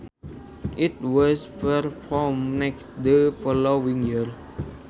It was performed next the following year